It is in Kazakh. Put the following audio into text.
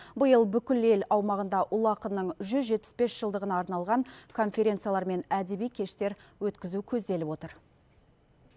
биыл бүкіл ел аумағында ұлы ақынның жүз жетпіс бес жылдығына арналған конференциялар мен әдеби кештер өткізу көзделіп отыр